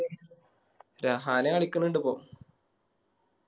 രഹാന കളിക്കണിണ്ട് ഇപ്പൊ